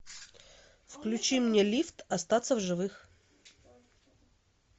включи мне лифт остаться в живых